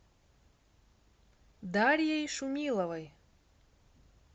дарьей шумиловой